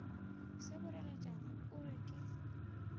se boreletšana o re ke